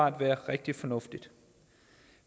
at være rigtig fornuftigt